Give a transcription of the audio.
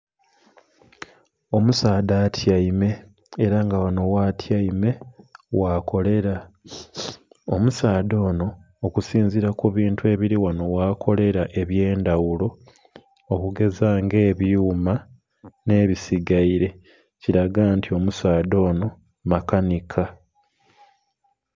Omusaadha atyaime era nga ghanho gha tyaime gha kolera. Omusaadha onho, okusinzira ku bintu ebiri ghano ghakolera ebyendhaghulo okugeza nga ebyuma nhe bisigaire kiraga nti omusaadha onho makanhika.